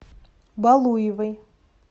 балуевой